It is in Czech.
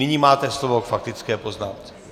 Nyní máte slovo k faktické poznámce.